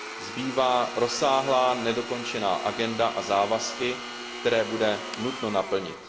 Zbývá rozsáhlá nedokončená agenda a závazky, které bude nutno naplnit.